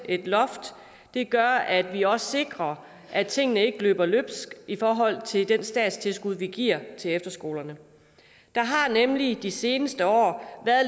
et loft gør at vi også sikrer at tingene ikke løber løbsk i forhold til det statstilskud vi giver til efterskolerne der har nemlig de seneste år